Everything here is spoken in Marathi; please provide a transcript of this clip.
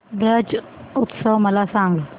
ब्रज उत्सव मला सांग